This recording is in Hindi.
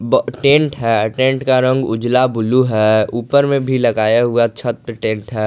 प टेंट है टेंट का रंग उजला ब्लू है ऊपर में भी लगाया हुआ छत पे टेंट है।